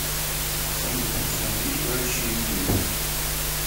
салют останови играющее видео